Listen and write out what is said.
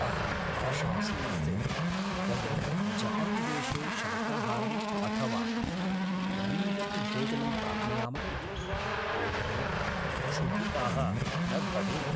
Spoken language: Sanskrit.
अहम् आशासे यत् वयं जपान्देशे शाकाहारं अथवा वीगन्भोजनं प्राप्नुयाम इति, येन वयं क्षुधिताः न भवेम।